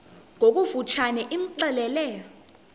ngokofu tshane imxelele